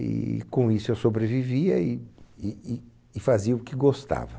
E com isso eu sobrevivia e e e e fazia o que gostava.